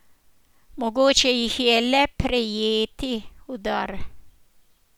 Mogoče jih je le prejeti v dar.